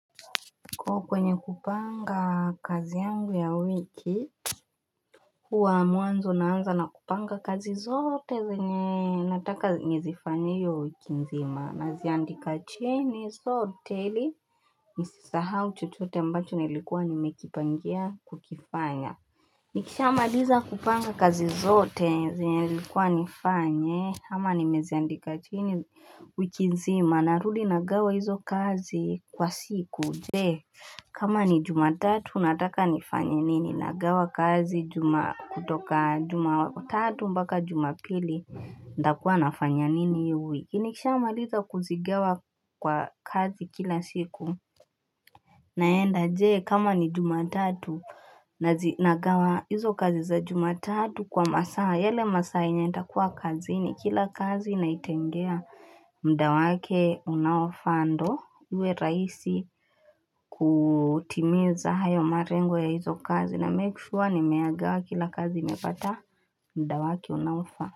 Kwa kwenye kupanga kazi yangu ya wiki Kwa mwanzo naanza na kupanga kazi zote zenye nataka ni zifanye hio wiki nzima na ziandika chini zote ili nisisahau chochote mbacho nilikuwa nimekipangea kukifanya Nikisha maliza kupanga kazi zote zinye nilikuwa nifanye ama nimeziandika chini wiki nzima narudi nagawa hizo kazi kwa siku Jee, kama ni jumatatu, nataka ni fanyanini, nagawa kazi kutoka jumatatu mpaka jumatatu mpaka jumapili, natakua nafanya nini hii wiki nikisha maliza kuzingawa kwa kazi kila siku naenda jee kama ni jumatatu na zinagawa hizo kazi za jumatatu kwa masaa yale masaa yenye nitakuwa kazi ni kila kazi na itengea muda wake unaofaa ndo uwe rahisi kutimiza hayo marengo ya hizo kazi na hakikisha nimeagawa kila kazi mepata muda wake unaofaa.